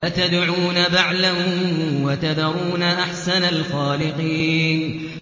أَتَدْعُونَ بَعْلًا وَتَذَرُونَ أَحْسَنَ الْخَالِقِينَ